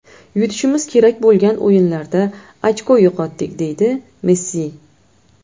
Yutishimiz kerak bo‘lgan o‘yinlarda ochko yo‘qotdik”, deydi Messi.